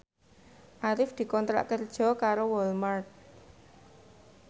Arif dikontrak kerja karo Walmart